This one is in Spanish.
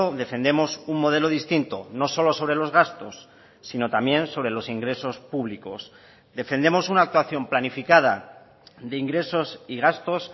defendemos un modelo distinto no solo sobre los gastos sino también sobre los ingresos públicos defendemos una actuación planificada de ingresos y gastos